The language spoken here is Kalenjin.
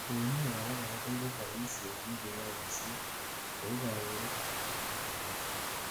uinwek abakora koibu boishet nekeyoe kosir, kou kaburet ab computer missing